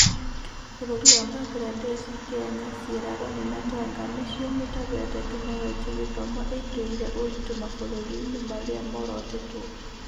Bũrũri wa Mbangirandeci, Kenya, Sieraloni na Tanga nĩcio mĩtambo ya Tekinoronjĩ ya Gĩthomo ĩkĩrĩire ũritu mabũrũri-inĩ marĩa morotĩtwo